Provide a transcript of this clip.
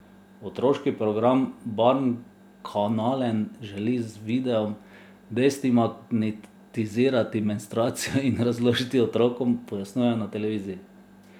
Otroški program Barnkanalen želi z videom destigmatizirati menstruacijo in jo razložiti otrokom, pojasnjujejo na televiziji.